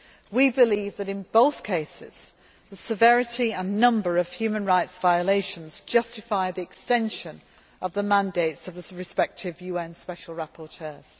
We believe that in both cases, the severity and number of human rights violations justify the extension of the mandates of the respective UN Special Rapporteurs.